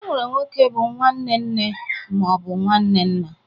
E nwere nwoke bụ nwanne nne ma ọ bụ nwanne nna